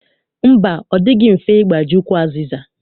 Mba, ọ dịghị mfe ịgbaji ukwu azịza.